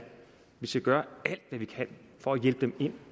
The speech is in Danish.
vi skal gøre alt hvad vi kan for at hjælpe dem ind